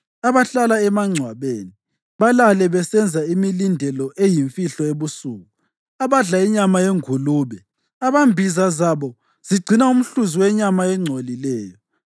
abahlala emangcwabeni balale besenza imilindelo eyimfihlo ebusuku; abadla inyama yengulube, abambiza zabo zigcina umhluzi wenyama engcolileyo;